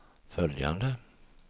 följande